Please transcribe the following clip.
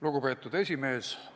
Lugupeetud esimees!